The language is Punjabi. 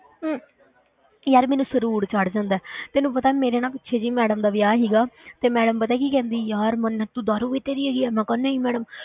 ਯਾਰ ਮੈਨੂੰ ਸ਼ਰੂਰ ਚੜ੍ਹ ਜਾਂਦਾ ਹੈ, ਤੈਨੂੰ ਪਤਾ ਮੇਰੇ ਨਾ ਪਿੱਛੇ ਜਿਹੇ ਹੀ madam ਦਾ ਵਿਆਹ ਸੀਗਾ ਤੇ madam ਪਤਾ ਕੀ ਕਹਿੰਦੀ ਯਾਰ ਮੰਨਤ ਤੂੰ ਦਾਰੂ ਪੀਤੀ ਹੈਗੀ ਆ, ਮੈਂ ਕਿਹਾ ਨਹੀਂ madam